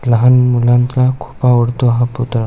लहान मुलान चा खुप आवडतो हा पुतळा--